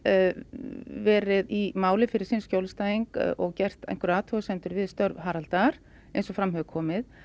verið í máli fyrir sinn skjólstæðing og gert athugasemdir við störf Haraldar eins og fram hefur komið